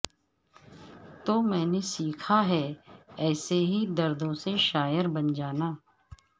تو میں نے سیکھا ہے ایسے ہی دردوں سے شاعر بن جانا